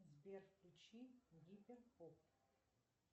сбер включи гиперпоп